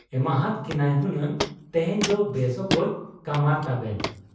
ᱮᱢᱟᱦᱟᱫ ᱠᱤᱱᱟᱭ ᱦᱩᱱᱟᱝ ᱛᱮᱦᱮᱧ ᱫᱚ ᱵᱮᱥ ᱚᱠᱚᱡ ᱠᱟᱢᱟᱨ ᱛᱟᱵᱮᱱ ᱾